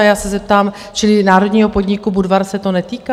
A já se zeptám - čili národního podniku Budvar se to netýká?